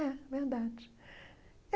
É, verdade.